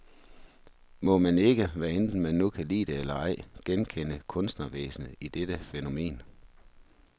Må man ikke, hvad enten man nu kan lide det eller ej, genkende kunstnervæsenet i dette fænomen.